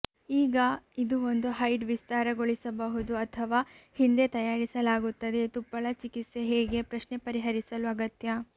ಈಗ ಇದು ಒಂದು ಹೈಡ್ ವಿಸ್ತಾರಗೊಳಿಸಬಹುದು ಅಥವಾ ಹಿಂದೆ ತಯಾರಿಸಲಾಗುತ್ತದೆ ತುಪ್ಪಳ ಚಿಕಿತ್ಸೆ ಹೇಗೆ ಪ್ರಶ್ನೆ ಪರಿಹರಿಸಲು ಅಗತ್ಯ